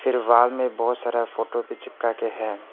फिर वॉल में बहोत सारा फोटो भी चिपका के है।